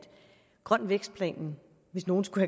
grøn vækst planen hvis nogen skulle